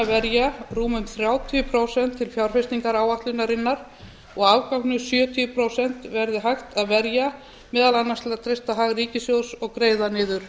verja rúmum þrjátíu prósent til fjárfestingaráætlunarinnar og afganginum sjötíu prósent verður hægt að verja meðal annars til að treysta hag ríkissjóðs og greiða niður